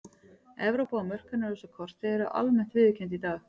Evrópa og mörk hennar á þessu korti eru almennt viðurkennd í dag.